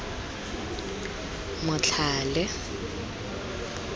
motlhale